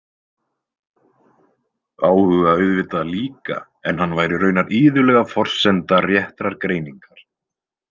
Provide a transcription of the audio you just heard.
Áhuga auðvitað líka en hann væri raunar iðulega forsenda réttrar greiningar.